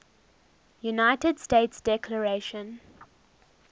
united states declaration